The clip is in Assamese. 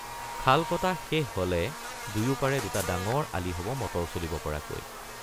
খাল কটা শেষ হলে দুয়োপাৰে দুটা ডাঙৰ আলি হব মটৰ চলিব পৰাকৈ।